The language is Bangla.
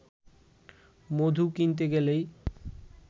মধু কিনতে গেলেই